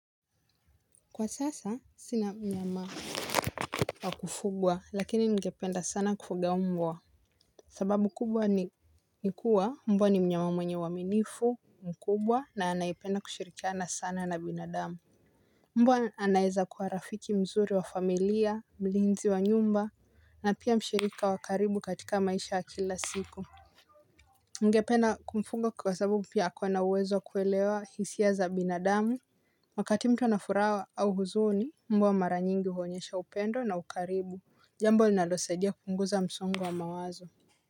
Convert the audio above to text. Kwa sasa sina mnyama wa kufugwa lakini ningependa sana kufuga mbwa. Sababu kubwa ni nikuwa mbwa ni mnyama mwenye uaminifu mkubwa na anayependa kushirikiana sana na binadamu. Mbwa anaeza kuwa rafiki mzuri wa familia mlinzi wa nyumba na pia mshirika wa karibu katika maisha ya kila siku. Ningependa kumfuga kwa sababu pia ako na uwezo wa kuelewa hisia za binadamu. Wakati mtu anafuraha au huzuni mbwa mara nyingi huonyesha upendo na ukarimu jambo linalosaidia kupunguza msongo wa mawazo.